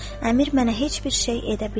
Əmir mənə heç bir şey edə bilməz.